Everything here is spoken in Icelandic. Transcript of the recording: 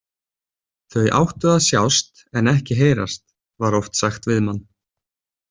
Þau áttu að sjást en ekki heyrast, var oft sagt við mann.